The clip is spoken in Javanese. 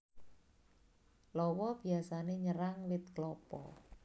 Lawa biyasané nyerang wit klapa